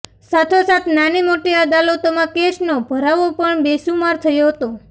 સાથોસાથ નાનીમોટી અદાલતોમાં કેસનો ભરાવો પણ બેસુમાર થયો હતો